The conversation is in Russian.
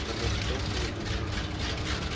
замок щёлкнул и найд